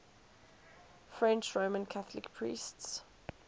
french roman catholic priests